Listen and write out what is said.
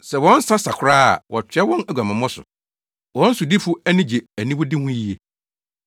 Sɛ wɔn nsa sa koraa a, wɔtoa wɔn aguamammɔ so; wɔn sodifo ani gye aniwude ho yiye.